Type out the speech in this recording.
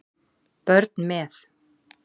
Börn með